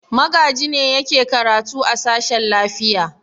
Magaji ne yake karatu a sashen lafiya.